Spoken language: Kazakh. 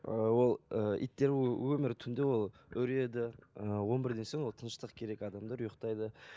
ыыы ол ы иттер ол өмірі түнде ол үреді ы он бірден соң ол тыныштық керек адамдар ұйықтайды